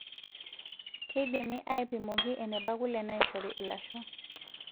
Keidimi aipimoki eneba kule naishori ilasho.